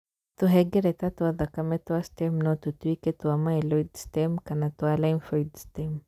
Tũhengereta twa thakame twa stem no tũtũĩke twa myeloid stem kana twa lymphoid stem